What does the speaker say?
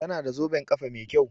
Tana da zoben kafa Mai kyau.